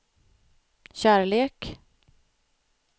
kärlek